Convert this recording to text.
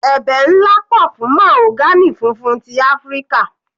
Ẹ̀bẹ̀ nlá pọ̀ fún mahogany funfun ti Áfíríkà.